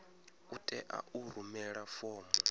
u tea u rumela fomo